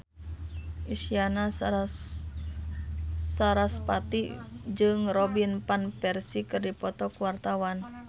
Isyana Sarasvati jeung Robin Van Persie keur dipoto ku wartawan